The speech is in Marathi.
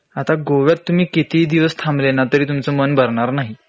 आता गोव्यात तुम्ही कितीही दिवस थांबले ना तरी तुमचं मन भरणार नाही